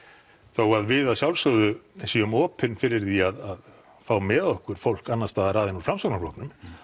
þó að við að sjálfsögðu séum opin fyrir því að fá með okkur fólk annars staðar að en úr Framsóknarflokknum